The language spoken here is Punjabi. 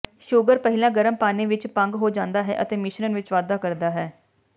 ਸ਼ੂਗਰ ਪਹਿਲਾਂ ਗਰਮ ਪਾਣੀ ਵਿਚ ਭੰਗ ਹੋ ਜਾਂਦਾ ਹੈ ਅਤੇ ਮਿਸ਼ਰਣ ਵਿਚ ਵਾਧਾ ਕਰਦਾ ਹੈ